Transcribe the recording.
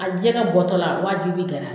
A jɛgɛ bɔtɔ la nga ji bi gɛrɛn